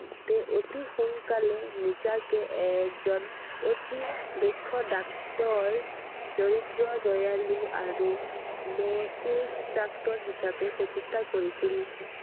তেওঁ অতি সোনকালে নিজাকে এজন অতি দক্ষ doctor দৰিদ্ৰ, দয়ালু আৰু মচিস doctor হিচাপে প্ৰতিষ্ঠা কৰিছিল I